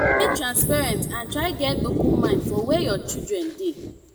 de transparent and try get open mind for where your children de